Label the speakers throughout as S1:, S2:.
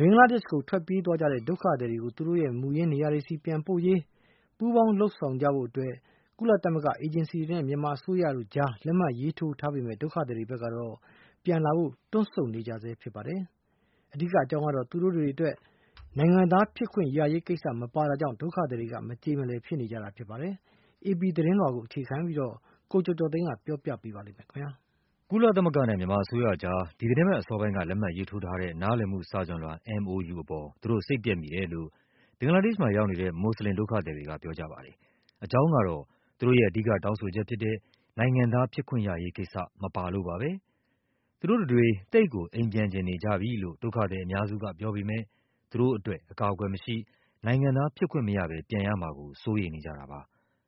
S1: ဘင်္ဂလားဒေ့ရှ်ကိုထွက်ပြေးသွားတဲ့ ဒုက္ခသည်တွေကို သူတို့ရဲ့ မူရင်းနေရာတွေဆီ ပြန်ပို့ရေး ပူးပေါင်း ဆောင်ရွက် ကြဖို့ ကုလသမဂ္ဂအေဂျင်စီတွေနဲ့ မြန်မာအစိုးရတို့ကြား လက်မှတ်ရေးထိုးထားပေမဲ့ ဒုက္ခသည်တွေ ဘက်က ပြန်လာဖို့ တွန့်ဆုတ် နေဆဲပါ။ အဓိကအကြောင်းကတော့ သူတို့အတွက် နိုင်ငံသားဖြစ်ခွင့်ရရေးကိစ္စ မပါတာကြောင့် ဒုက္ခသည်တွေက မကျေလည်ကြ တာဖြစ်ပါတယ်။ AP သတင်းလွှာကို အခြေခံပြီး ကိုကျော်ကျော်သိန်းက တင်ပြပေးထားပါတယ်။
S2: ကုလသမဂ္ဂနဲ့ မြန်မာအစိုးရကြား ဒီသီတင်းပတ်အစောပိုင်းက လက်မှတ်ရေးထိုးထားတဲ့ နားလည်မှုစာချွန်လွှာ MoU အပေါ် သူတို့စိတ်ပျက်မိတယ်လို့ ဘင်္ဂလားဒေ့ရှ်မှာ ရောက်နေတဲ့ မွတ်ဆလင်ဒုက္ခသည်တွေက ပြောကြ ပါတယ်။ အကြောင်းကတော့ သူတို့ရဲ့ အဓိကတောင်းဆိုချက်ဖြစ်တဲ့ နိုင်ငံသားဖြစ်ခွင့်ရရေးကိစ္စ မပါလို့ပါပဲ။ သူတို့တွေ သိပ်ကို အိမ်ပြန်ချင်နေကြပြီလို့ ဒုက္ခသည်အများစုကပြောပေမဲ့ သူတို့အတွက် အကာအကွယ်မရှိ၊ နိုင်ငံသားဖြစ်ခွင့်မရဘဲ ပြန်ရမှာကို စိုးရိမ်နေကြတာပါ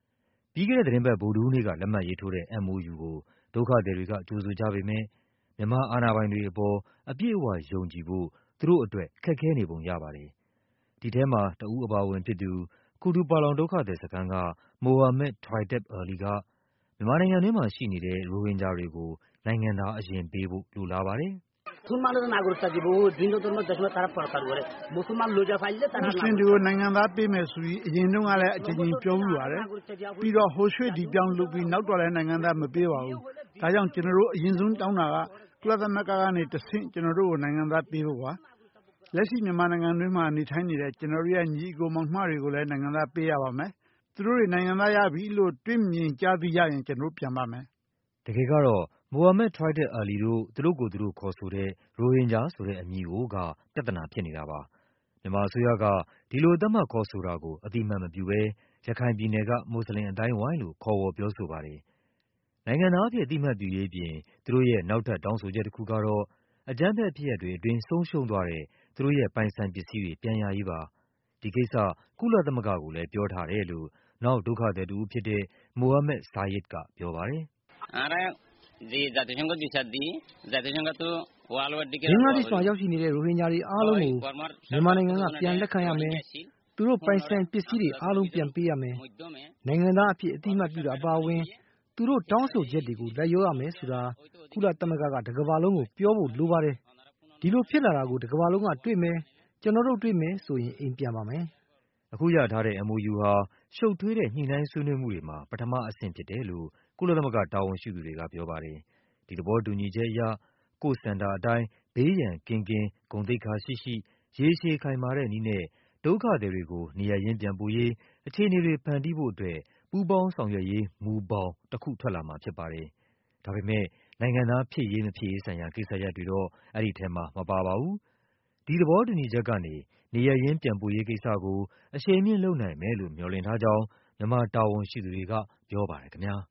S2: ။ ပြီးခဲ့တဲ့သီတင်းပတ် ဗုဒ္ဓဟူးနေ့က လက်မှတ်ရေးထိုးတဲ့ MoU ကို ဒုက္ခသည်တွေက ကြိုဆို ကြပေမဲ့ မြန်မာ အာဏာပိုင်တွေအပေါ် အပြည့်အဝယုံကြည်ဖို့ သူတို့အတွက် ခက်ခဲနေပုံ ရပါတယ်။ ဒီထဲမှာ တဦး အပါအဝင် ဖြစ်သူ Kutupalong ဒုက္ခသည်စခန်းက Mohammed Toiteb Ali က မြန်မာနိုင်ငံတွင်းမှာရှိနေတဲ့ ရိုဟင်ဂျာ တွေကို
S3: နိုင်ငံသား အရင်ပေးဖို့ လိုလားပါတယ်။ “မွတ်ဆလင်တွေကို နိုင်ငံသားပေးမယ်ဆိုပြီး အရင်တုန်းကလည်း အကြိမ်ကြိမ်ပြောဖူး ပါတယ်။ ပြီးတော့ ဟိုရွှေ့ ဒီပြောင်း လုပ်ပြီး နောက်တော့လည်း နိုင်ငံသားမပေးပါဘူးး။ ဒါကြောင့် ကျနော်တို့ အရင်ဆုံးတောင်းတာက ကုလ သမဂ္ဂကနေတဆင့် ကျနော်တို့ကို နိုင်ငံသားပေးဖို့ပါ။ လက်ရှိ မြန်မာနိုင်ငံတွင်းမှာနေထိုင်နေတဲ့ ကျနော်တို့ရဲ့ ညီအကို မောင်နှမတွေကိုလည်း နိုင်ငံသားပေးရပါမယ်။ သူတို့တွေ နိုင်ငံသားရပြီလို့ တွေ့မြင်ကြား သိရရင် ကျနော်တို့ ပြန်ပါမယ်။
S2: ” တကယ်ကတော့ Mohammed Toited Ali တို့ သူတို့ကိုယ်သူတို့ ခေါ်ဆိုတဲ့ ရိုဟင်ဂျာ ဆိုတဲ့ အမည်ကိုက ပြဿနာဖြစ်နေတာပါ။ မြန်မာအစိုးရက ဒီလို သတ်မှတ်ခေါ်ဆိုတာကို အသိအမှတ်မပြုဘဲ ရခိုင်ပြည်နယ်က မွတ်ဆလင်အသိုင်းအဝိုင်းလို့ ခေါ်ဝေါ်ပြောဆို ပါတယ်။ နိုင်ငံသားအဖြစ် အသိအမှတ်ပြုရေးအပြင် သူတို့ရဲ့ နောက်ထပ် တောင်းဆိုချက်တခု ကတော့ အကြမ်းဖက် ဖြစ်ရပ်တွေအတွင်း ဆုံးရှုံးသွားတဲ့ သူတို့ရဲ့ပိုင်ဆိုင်ပစ္စည်းတွေ ပြန်ရရေးပါ။ ဒီကိစ္စ ကုလသမဂ္ဂကိုလည်း ပြော ထားတယ်လို့ နောက် ဒုက္ခသည်တဦး ဖြစ်တဲ့ Mohammed Syed ကပြောပါတယ်။ “
S3: ဘင်္ဂလားဒေ့ရှ်မှာရေ
S1: ာက်နေတဲ့ ရိုဟင်ဂျာတွေအားလုံးကို မြန်မာနိုင်ငံက ပြန်လက်ခံရမယ်၊ သူတို့ပိုင်ဆိုင် ပစ္စည်း တွေ အားလုံး ပြန်ပေးရမယ်၊ နိုင်ငံသားအဖြစ် အသိအမှတ်ပြုတာ အပါအဝင် သူတို့တောင်းဆိုချက်တွေကို လိုက် လျောရမယ်ဆိုတာ ကုလသမဂ္ဂက တကမ္ဘာလုံးကို ပြောဖို့လိုပါတယ်။ အဲဒီလိုဖြစ်လာတာကို တကမ္ဘာလုံးက တွေ့မယ်၊ ကျနော်တို့ တွေ့မယ်ဆိုရင် အိမ်ပြန်ပါမယ်။
S2: ” အခုရထားတဲ့ MoU ဟာ ရှုပ်ထွေးတဲ့ ညှိနှိုင်းဆွေးနွေးမှုတွေမှာ ပထမအဆင့်ဖြစ်တယ်လို့ ကုလသမဂ္ဂ တာဝန် ရှိသူတွေက ပြောပါတယ်။ ဒီသဘောတူညီချက်အရ “ကိုယ့်ဆန္ဒ အတိုင်း ဘေးရန်ကင်းကင်း ဂုဏ်သိက္ခာရှိရှိ ရေရှည် ခိုင်မာတဲ့နည်းနဲ့” ဒုက္ခသည်တွေကို နေရပ်ရင်း ပြန်ပို့ရေး အခြေအနေတွေဖန်တီးဖို့အတွက် “ပူးပေါင်း ဆောင်ရွက်ရေး မူဘောင်” တခု ထွက်လာမှာဖြစ်ပါတယ်။ ဒါပေမဲ့ နိုင်ငံသား ဖြစ်ရေး မဖြစ်ရေးဆိုင်ရာ ကိစ္စရပ် တွေတော့ အဲဒီထဲမှာ မပါပါဘူး။ ဒီသဘောတူညီချက်ကနေ နေရပ်ရင်းပြန်ပို့ရေးကိစ္စကို အရှိန်မြှင့်လုပ်နိုင်မယ်လို့ မျှော်လင့် ထားကြောင်း မြန်မာတာဝန်ရှိသူတွေက ပြောပါ တယ်ခင်ဗျား။